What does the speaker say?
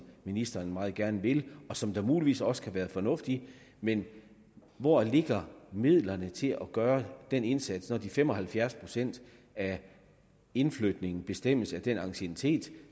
ministeren meget gerne vil og som der muligvis også kan være fornuft i men hvor ligger midlerne til at gøre den indsats når fem og halvfjerds procent af indflytningerne bestemmes af den anciennitet